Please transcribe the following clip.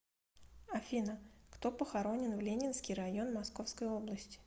афина кто похоронен в ленинский район московской области